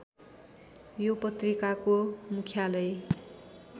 यो पत्रिकाको मुख्यालय